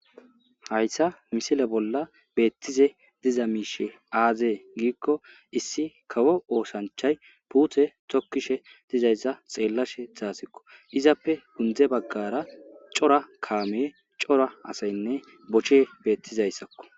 Haysa misile bolla betishe diza mishe aze giko issi kawo osachay pute tokishe dizaysa xelashe dasiko izape gunde bagara cora kame cora asaynne bochey betizaysako